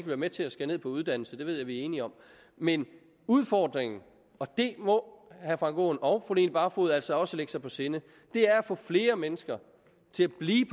være med til at skære ned på uddannelse det ved jeg at vi er enige om men udfordringen og det må herre frank aaen og fru line barfod altså også lægge sig på sinde er at få flere mennesker til at blive